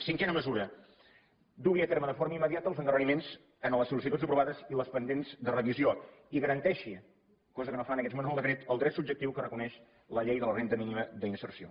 cinquena mesura dugui a terme de forma immediata els endarreriments en les sol·licituds aprovades i les pendents de revisió i garanteixi cosa que no fa en aquests moments el decret el dret subjectiu que reconeix la llei de la renda mínima d’inserció